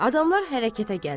Adamlar hərəkətə gəlir.